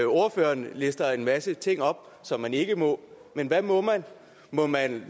ordføreren lister en masse ting op som man ikke må men hvad må må man